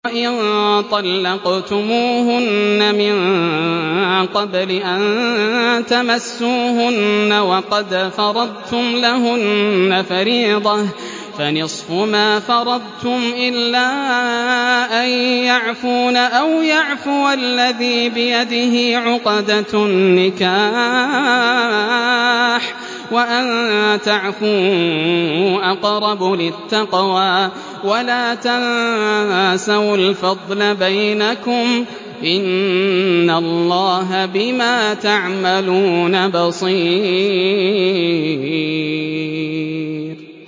وَإِن طَلَّقْتُمُوهُنَّ مِن قَبْلِ أَن تَمَسُّوهُنَّ وَقَدْ فَرَضْتُمْ لَهُنَّ فَرِيضَةً فَنِصْفُ مَا فَرَضْتُمْ إِلَّا أَن يَعْفُونَ أَوْ يَعْفُوَ الَّذِي بِيَدِهِ عُقْدَةُ النِّكَاحِ ۚ وَأَن تَعْفُوا أَقْرَبُ لِلتَّقْوَىٰ ۚ وَلَا تَنسَوُا الْفَضْلَ بَيْنَكُمْ ۚ إِنَّ اللَّهَ بِمَا تَعْمَلُونَ بَصِيرٌ